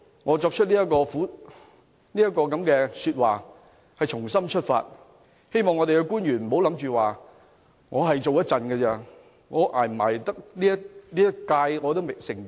我在這裏發表的這番說話是發自肺腑，希望官員不要想着自己只做一段時間，能否捱完這個任期也成疑。